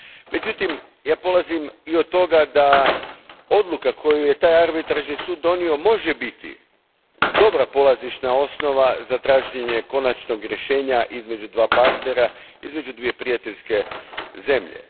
Međutim, ja polazim i od toga da odluka koju je taj arbitražni sud donio može biti dobra polazišna osnova za traženje konačnog rješenja između dva partnera, između dvije prijateljske zemlje.